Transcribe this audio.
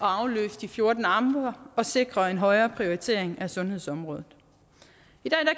afløse de fjorten amter og sikre en højere prioritering af sundhedsområdet